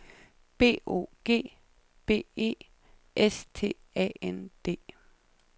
B O G B E S T A N D